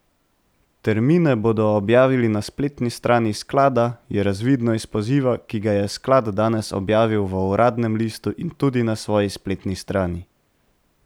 Termine bodo objavili na spletni strani sklada, je razvidno iz poziva, ki ga je sklad danes objavil v uradnem listu in tudi na svoji spletni strani.